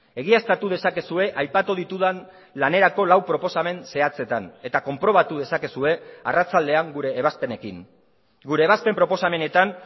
egiaztatu dezakezue aipatu ditudan lanerako lau proposamen zehatzetan eta konprobatu dezakezue arratsaldean gure ebazpenekin gure ebazpen proposamenetan